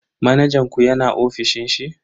Manajan ku yana ofishin shi?